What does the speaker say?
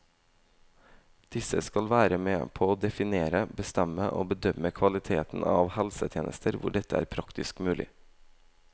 Disse skal være med på å definere, bestemme og bedømme kvaliteten av helsetjenester hvor dette er praktisk mulig.